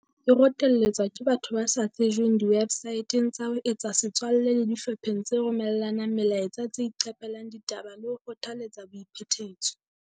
E rotelletswa ke batho ba sa tsejweng diwebsaeteng tsa ho etsa setswalle le dihlopheng tse romella nang melaetsa tse iqape lang ditaba le ho kgothaletsa boiphetetso.